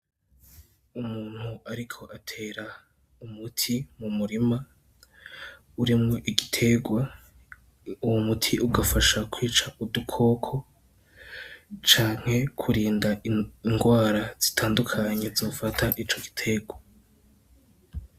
Umuntu ariko atera umuti mu murima urimwo igiterwa, uwo muti ugafasha kwica udukoko canke kurinda ingwara zitandukanye zofata ico giterwa.